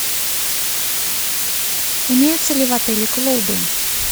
имеются ли в отеле клубы